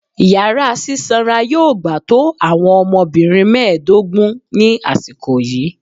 Yara sisanra yoo gba to awọn ọmọbirin mẹdogun ni asiko yii